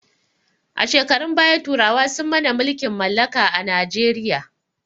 A shekarun baya turawa sun mana mulkin mallaka a najeriya